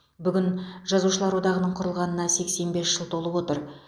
бүгін жазушылар одағының құрылғанына сексен бес жыл толып отыр